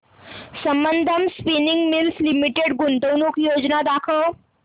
Sambandam spinning mills limited गुंतवणूक योजना दाखव